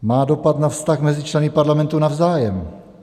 Má dopad na vztah mezi členy Parlamentu navzájem.